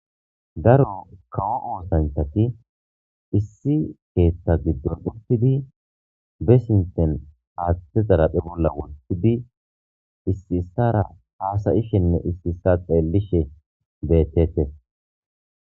Daaro kawo oththanchati issi keththa giddon uttidi be sinththen haththe xaraphe bolla woththidi issi issisara hasishene isi isa xellishe bettetes.